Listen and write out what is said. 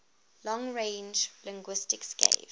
long range linguistics gave